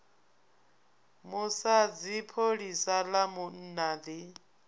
musadzi pholisa ḽa munna ḓi